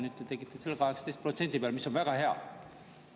Nüüd te tegite selle 18% peale, mis on väga hea.